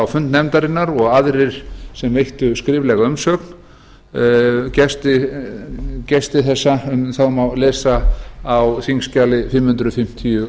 fund nefndarinnar og aðrir sem veittu skriflega umsögn um gesti þessa má lesa á þingskjali fimm hundruð fimmtíu